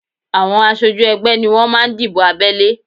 Àwọn aṣojú ẹgbẹ́ ni wọ́n máa ń dìbò abẹ́lé